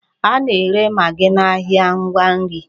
A na-ere magị n'ahịa ngwa nri.